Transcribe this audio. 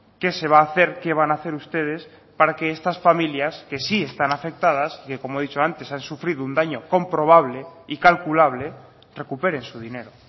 qué se va a hacer qué van a hacer ustedes para que estas familias que sí están afectadas que como he dicho antes han sufrido un daño comprobable y calculable recuperen su dinero